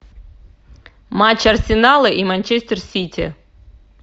матч арсенала и манчестер сити